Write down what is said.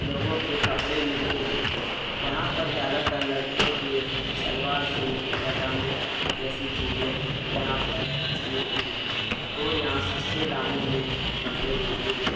लोगों के कपड़े मिलते हैं यहां पर ज्यादातर लड़कियों के सलवार सूट पजामे जैसी चीजें यहां पर और यहां सस्ते दामों में कपड़े मिलते हैं।